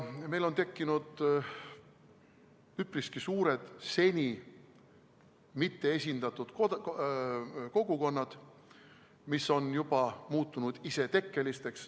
Meil on tekkinud üpriski suured seni mitteesindatute kogukonnad, mis on juba muutunud isetekkeliseks.